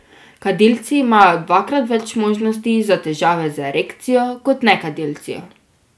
Kadilci imajo dvakrat več možnosti za težave z erekcijo kot nekadilci.